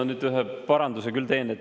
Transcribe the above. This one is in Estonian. Ma nüüd ühe paranduse küll teen.